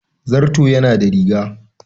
Zarto yana da riga.